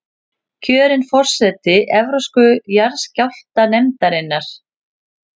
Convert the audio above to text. Kjörin forseti Evrópsku jarðskjálftanefndarinnar